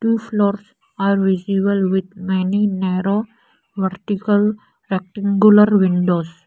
Two floors are visible with many narrow vertical rectangular windows.